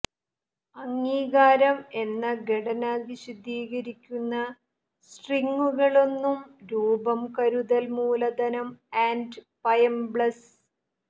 അംഗീകാരം എന്ന ഘടന വിശദീകരിക്കുന്ന സ്ട്രിംഗുകളൊന്നും രൂപം കരുതൽ മൂലധനം ആൻഡ് പയബ്ലെസ്